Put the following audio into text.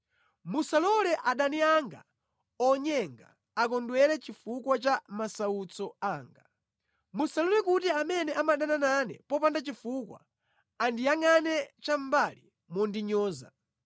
Musalole adani anga onyenga akondwere chifukwa cha masautso anga; musalole kuti amene amadana nane popanda chifukwa andiyangʼane chamʼmbali mondinyoza.